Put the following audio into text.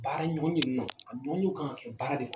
Baaraɲɔgɔnye minnu na a ɲɔgɔnyew kan ka kɛ baara de kɔnɔ.